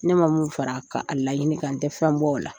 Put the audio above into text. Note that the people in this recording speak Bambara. Ne ma mun fara a ka a laɲini kan n tɛ fɛn b'ola.